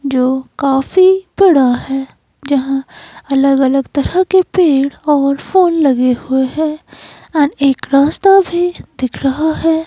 जो काफी बड़ा है। जहां अलग-अलग तरह के पेड़ और फूल लगे हुए हैं एंड एक रास्ता भी दिख रहा है।